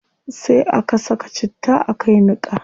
Sai a ka saka citta a kai niqa